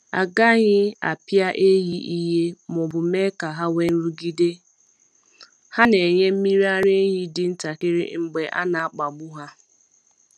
A gaghị apịa ehi ìhè ma ọ bụ mee ka ha nwee nrụgide — ha na-enye mmiri ara ehi dị ntakịrị mgbe a na-akpagbu ha.